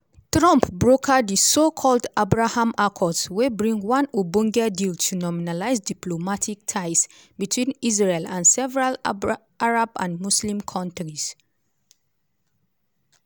trump broker di so-called “abraham accords” wey bring one ogbonge deal to normalise diplomatic ties between israel and several arab and muslim countries.